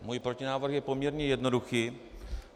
Můj protinávrh je poměrně jednoduchý.